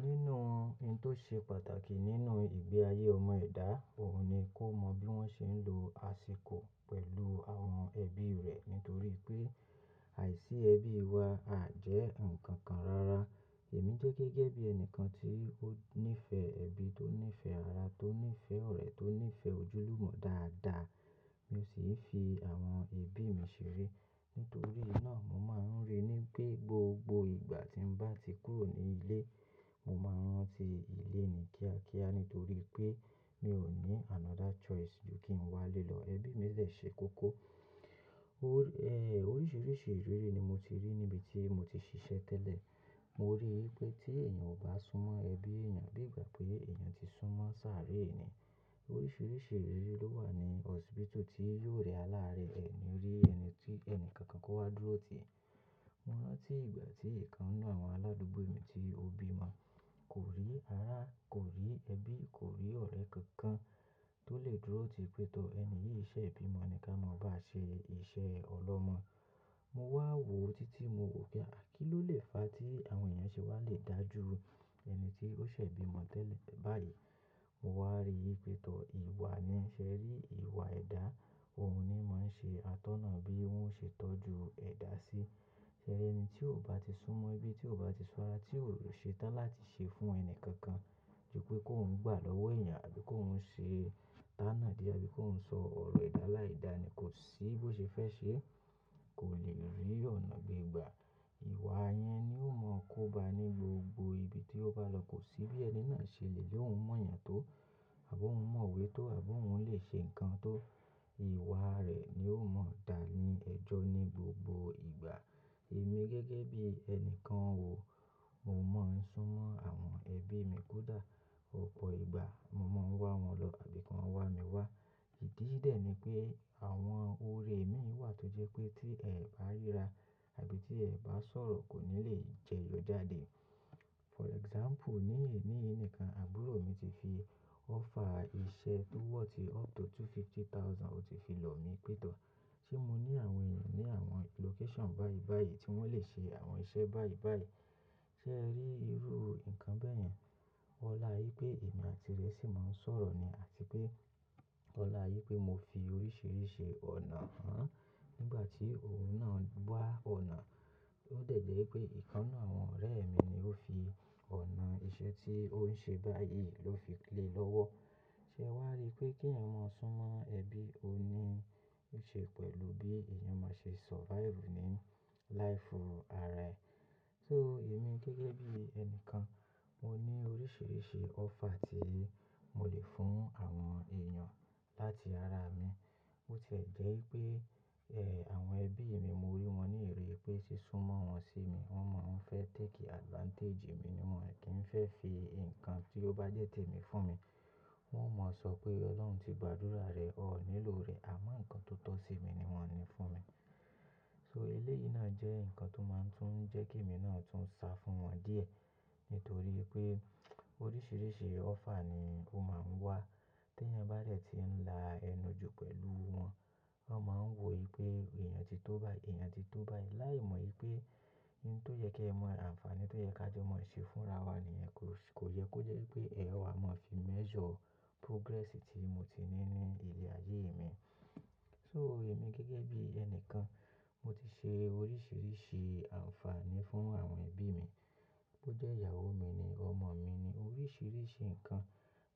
Nínú ohun tó ṣe pàtàkì nínú ìgbé ayé ọmọ ẹ̀dá, òun ni kó mọ bí wọ́n ṣe ń lo àsìkò pẹ̀lú àwọn ẹbí rẹ̀. Nítorí pé àìsí ẹbí wa a jẹ́ nǹkan kan rara. Èmi jẹ́ gẹ́gẹ́ bí ẹni kan tí ó nífẹ̀ẹ́ ẹbí, tó nífẹ̀ẹ́ ara, tó nífẹ̀ẹ́ ọ̀rẹ́, tó nífẹ̀ẹ́ ojúlùmọ̀ dáadáa. Mi ò sì fi àwọn ẹbí mi ṣeré. Nítorí náà, mo máa ń rí i pé gbogbo ìgbà tí mo bá ti kúrò ní ilé, mo máa ń rántí ilé ni kíákíá nítorí pé mi ò ní another choice ju kí n wá lé lọ. Ẹbí mi ṣè kóko. Oríṣiríṣi ìrírí ni mo ti rí níbi tí mo ti ṣiṣẹ́ tẹ́lẹ̀. Mo rí i pé tí èèyàn kò bá súnmọ́ ẹbí èèyàn bí ìgbà pé èèyàn ti súnmọ́ sáré ni, oríṣiríṣi ìrírí ló wà ní hospital tí yóò rẹ aláárẹ̀ ẹni rí ẹni tí ẹni kankan kó wá dúró tì. Mo rántí ìgbà tí ìkan nnu àwọn aládùúgbò mi tí ó bí mi, kò rí ara, kò rí ẹbí, kò rí ọ̀rẹ́ kankan tó lè dúró tì pé tọ́ ẹni yìí ṣẹ̀ bímo ni ká mọ̀ bá ṣe iṣẹ́ ọlọ́mọ. Mo wá wò ó títí mo wò pé kí ló lè fa tí àwọn èèyàn ṣe wá le dà jú ẹni tí ó ṣẹ̀ bímo tẹ́lẹ̀ báyìí. Mo wá rí i pé tọ́ ìwà ni, ṣẹ́ rí ìwà ẹ̀dá, òun ni máa ń ṣe atọ́nà bí ó ṣe tọ́jú ẹ̀dá sí. Ṣẹ́ eri ẹni tí ò bá ti súnmọ́ ẹbí, tí ò bá ti sunmo ara, tí ò ṣe tán láti ṣe fún ẹni kankan ju pé kó ń gbà lọ́wọ́ èèyàn àbí kó ń ṣe tana dì abí kó ń sọ ọ̀rọ̀ edá lá ìdánì kó ṣí bó ṣe fẹ́ ṣe, kò lè rí ọ̀nà gbegbà. Ìwà yẹn ni ó mọ̀ kóba ní gbogbo ibi tí ó bá lọ, kò sí bí ẹni náà ṣe lè lóhun mọ́ èèyàn tó àbí ó hun mọ̀wé tó àbí ó hun lè ṣe nǹkan tó ìwà rẹ̀ ni ó mọ̀ dáa ní ẹ̀jọ́ ní gbogbo ìgbà. Èmi gẹ́gẹ́ bí ẹni kan ò, mo mọ̀ ń súnmọ́ àwọn ẹbí mi kódà ọ̀pọ̀ ìgbà mo máa ń wá wọn lọ àbí kàn wá mi wá. Ìdí ì dè ní pé àwọn orè mi wà tó jẹ́ pé tí ẹ̀ bá ríra àbí tí ẹ̀ bá sọ̀rọ̀ kò ní lè jẹyọ jáde. For example, ní èní yí nìkan àbúrò mi ti fi offer iṣẹ́ tó worth up to two fifty thousand, ó ti fi lọ̀ mí pẹ́ tọ́ ṣé mo ní àwọn èèyàn ní àwọn location báyìí báyìí tí wọ́n lè ṣe àwọn iṣẹ́ báyìí báyìí. Ṣẹ́ ẹ rí irú nǹkan bẹ́ẹ̀ yẹn? Ọlá í pé èmi àti rẹ sì máa ń sọ̀rọ̀ ni àti pé ọlá yí pé mo fi oríṣiríṣi ọ̀nà hàn nígbà tí òun náà gbá ọ̀nà. Ó de jẹ́ wipé ìkan nnu àwọn ọ̀rẹ́ mi ni ó fi ọ̀nà iṣẹ́ tí ó ń ṣe báyìí ló fi lè lọ́wọ́. Ṣẹ́ wàá rí i pé kí ẹ̀mọ̀ súnmọ́ ẹbí òní ṣe pẹ̀lú bí èèyàn máa ṣe survive ní life ara ẹ. So èmi gẹ́gẹ́ bí ẹni kan, mo ní oríṣiríṣi offer tí mo lè fún àwọn èèyàn láti ara mi. Bo tie jẹ́ wípé, ẹ, àwọn ẹbí mi mo rí wọn ní ìrì pé sí súnmọ́ wọn sí mi, wọ́n máa ń fẹ́ take advantage mi ni wọn, kí ń fẹ́ fi nǹkan tí ó bá jẹ́ tèmi fún mi. Wọn ò mọ̀ sọ pé Ọlọ́run ti gbàdúrà rẹ, ó nílò rẹ̀ àmọ́ nǹkan tó tọ́ sí mi ni wọ́n ń ní fún mi. So elé yìí náà jẹ́ nǹkan tó máa ń tún jẹ́ kí èmi náà tún sá fún wọn díẹ̀ nítorí pé oríṣiríṣi offer ni ó máa ń wá. Tí ẹni bá rẹ̀ ti ń la ẹnu ju pẹ̀lú wọn, wọ́n máa ń wò ó pé èèyàn ti tó báyìí, èèyàn ti tó báyìí. Láì mọ̀ wípé ohun tó yẹ́ kí ẹ mọ àǹfààní, tó jẹ́ ká jọmọ́ ṣe fúnra wa nìyẹn kò yẹ kó jẹ́ wípé ẹ̀ wa máa fi measure progress tí mo ti ní ní ilé ayé mi. So èmi gẹ́gẹ́ bí ẹni kan, mo ti ṣe oríṣiríṣi àǹfààní fún àwọn ẹbí mi, bó jẹ́ ìyàwó mi ni, ọmọ mi ni, oríṣiríṣi nǹkan.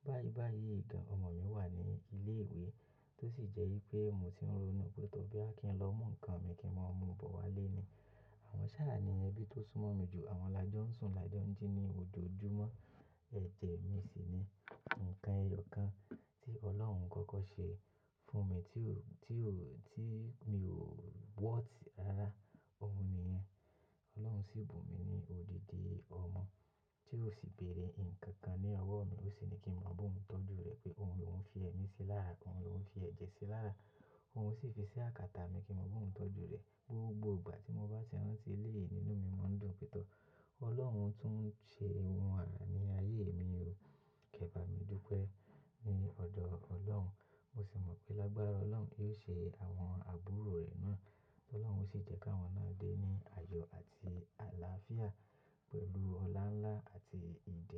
Báyìí báyìí gan, ọmọ mi wà ní ilé ìwé tó sì jẹ́ wípé mo ti ń ronú pé tọ́ bí kí n lọ mú nǹkan mi kí wọn mú bọ̀ wá lé ni. Àwọn ṣàá ni ẹbí tó súnmọ́ mi jù, àwọn lájọ ń sùn lá jọ́njí ní ojoojúmọ́. Ẹ̀jẹ̀ mi sì ni nǹkan ẹyọ kan tí Ọlọ́run kọ́kọ́ ṣe fún mi tí ò, tí ò, tí mi ò worth ara. Òun ni yẹ́n. Ọlọ́run sì bù mi ní òdìdì ọmọ tí ó sì béèrè nǹkan kan ní ọwọ́ mi ó sì ní kí mo bú òun tọ́jú rẹ̀ pé òun lò hun fi ẹni sí lára, òun lo hun fi ẹ̀jẹ̀ sí lára, òun sì fi iṣẹ́ àkàtà mi kí n mọ̀ ba òun tọ́jú rẹ̀ gbogbo ìgbà tí mo bá ṣe rántí ilé yìí nínú mi máa ń dùn pẹ́ tọ́. Ọlọ́run tún ṣe ohun àrà ní ayé mi, ó kẹ́ba mi dúpẹ́ ní ọ̀dọ̀ Ọlọ́run. Mo sì mọ̀ pé lágbára Ọlọ́run yóò ṣe àwọn àbúrò rẹ̀ náà. Ọlọ́run sì jẹ́ ká wọn náà dé ní àyọ̀ àti àlàáfíà pẹ̀lú ọlá ńlá àti ijó.